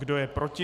Kdo je proti?